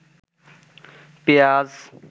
পেয়াজ